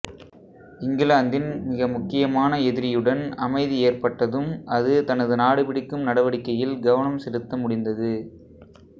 இங்கிலாந்தின் மிக முக்கியமான எதிரியுடன் அமைதி ஏற்பட்டதும் அது தனது நாடுபிடிக்கும் நடவடிக்கையில் கவனம் செலுத்த முடிந்தது